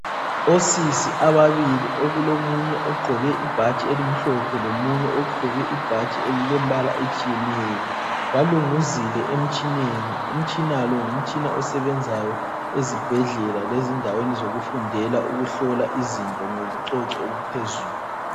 Osisi ababili okulomunye ogqoke ibhatshi elimhlophe lomunye ogqoke ibhatshi elilembala etshiyeneyo, balunguzile emtshineni, umtshina lo ngumtshina osebenzayo ezibhedlela lezindaweni zokufundela ukuhlola izinto ngobucoco obuphezulu.